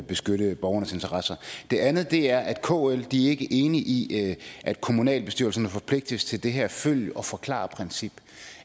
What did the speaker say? beskytte borgernes interesser det andet er at kl ikke er enig i at kommunalbestyrelserne forpligtes til det her følg og forklar princip